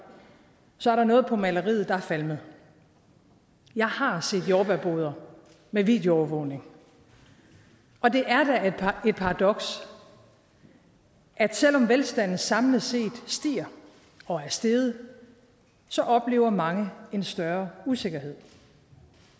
så er der noget på maleriet der er falmet jeg har set jordbærboder med videoovervågning og det er da et paradoks at selv om velstanden samlet set stiger og er steget oplever mange en større usikkerhed